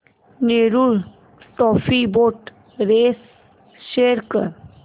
Nehru trophy boat race show कर